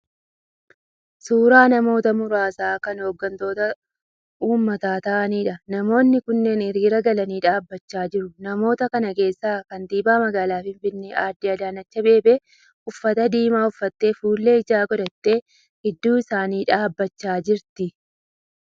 Suura namoota muraasa kan oggantoota uummata ta'aniidha. Namoonni kunneen hiriira galanii dhaabbachaa jiru. Namoota kana keessa kantiibaan magaalaa Finfinnee adde Adaanechi Abeebee uffatta diimaa uffattee fuullee ijaas godhattee gidduu isaanii dhaabbachaa jirti.